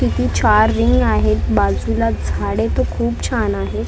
आहेत बाजूला झाडे तर खूप छान आहेत.